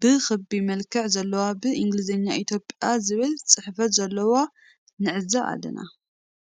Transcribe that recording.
ብ ክቢ መልክዕ ዘለዎ ብ እንግሊዘኛ ኢትዮፕያ ዝብል ጽሕፈት ዘልዎ ንዕዘብ ኣለና።